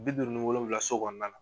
Bi duuru ni wolowula so kɔnɔna na.